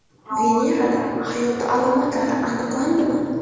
Venerada hayot alomatlari aniqlandimi?